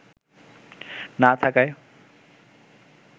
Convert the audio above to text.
না থাকায়